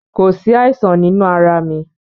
Kò sí àìsàn nínú arà mi.